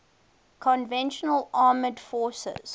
conventional armed forces